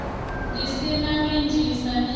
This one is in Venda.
ḓi sima midzi sa miri